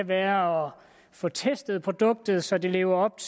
være at få testet produktet så det lever op